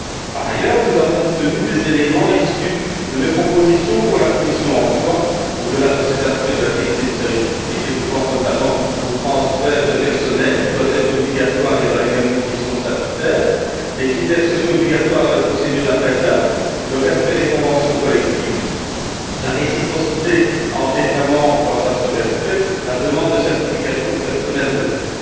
Par ailleurs, nous avons obtenu des éléments issus de mes propositions pour la commission Emploi, au delà de cet aspect de la qualité du service public, et je pense notamment au transfert de personnel, qui doit être obligatoire et répondre aux mêmes conditions statutaires, aux critères sociaux obligatoires dans les procédures d'appels d'offres, au respect des conventions collectives, à la réciprocité entre États membres quant à ce respect ainsi qu'à la demande de certification du personnel de bord.